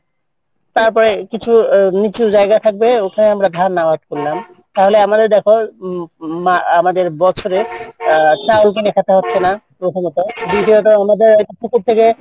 তারপরে একটু জায়গা থাকবে